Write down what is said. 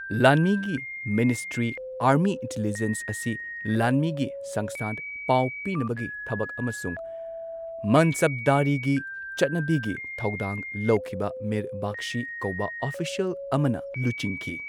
ꯂꯥꯟꯃꯤꯒꯤ ministry army intelligence ꯑꯁꯤ ꯂꯥꯟꯃꯤꯒꯤ ꯁꯪꯁ꯭ꯊꯥꯟ, ꯄꯥꯎ ꯄꯤꯅꯕꯒꯤ ꯊꯕꯛ, ꯑꯃꯁꯨꯡ ꯃꯟꯁꯕꯗꯥꯔꯤꯒꯤ ꯆꯠꯅꯕꯤꯒꯤ ꯊꯧꯗꯥꯡ ꯂꯧꯈꯤꯕ ꯃꯤꯔ ꯕꯈꯁꯤ ꯀꯧꯕ ꯑꯣꯐꯤꯁꯤꯑꯦꯜ ꯑꯃꯅ ꯂꯨꯆꯤꯡꯈꯤ꯫